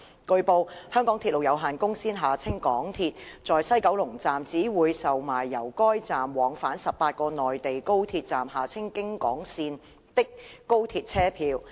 據報，香港鐵路有限公司在西九龍站只會售賣由該站往返18個內地高鐵站的高鐵車票。